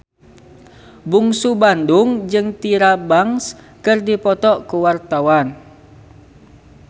Bungsu Bandung jeung Tyra Banks keur dipoto ku wartawan